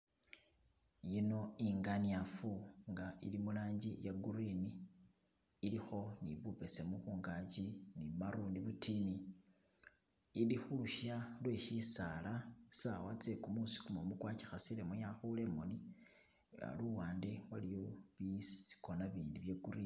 Yino inganyiafu nga ili mulangi ya green ilikho ni bubesemu kungachi ni marruni butini, ili khulusha lwe shisaala sawa tsekumusi kumumu kwagikasilemu yakhule imooni luwande waliwo bikona bindi bya green